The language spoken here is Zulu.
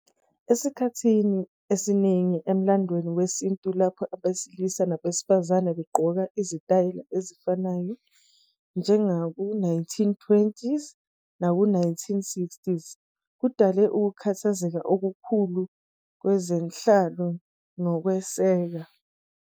Esikhathini esiningi emlandweni wesintu lapho abesilisa nabesifazane begqoka izitayela ezifanayo, njengaku-1920s naku-1960s, kudale ukukhathazeka okukhulu kwezenhlalo nokwesekwa.